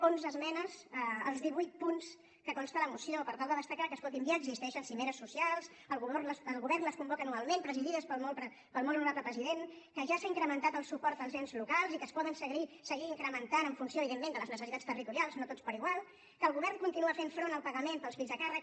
onze esmenes als divuit punts de què consta la moció per tal de destacar que escolti’m ja existeixen cimeres socials el govern les convoca anualment presidides pel molt honorable president que ja s’ha incrementat el suport als ens locals i que es pot seguir incrementant en funció evidentment de les necessitats territorials no tots per igual que el govern continua fent front al pagament pels fills a càrrec